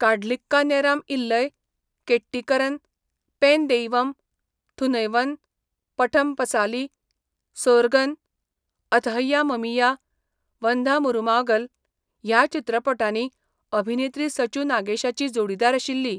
काढलिक्का नेराम इल्लय, केट्टीकरन, पेन देइवम, थुनैवन, पठम पसाली, सोर्गम, अथहैया ममिया, वंधा मरुमागल ह्या चित्रपटांनी अभिनेत्री सचू नागेशाची जोडीदार आशिल्ली.